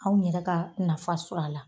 Anw yɛrɛ ka nafa sɔr'a la,